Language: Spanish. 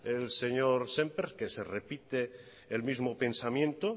el señor sémper que se repite el mismo pensamiento